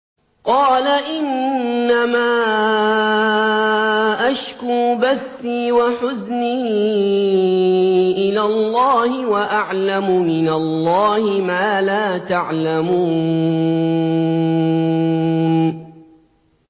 قَالَ إِنَّمَا أَشْكُو بَثِّي وَحُزْنِي إِلَى اللَّهِ وَأَعْلَمُ مِنَ اللَّهِ مَا لَا تَعْلَمُونَ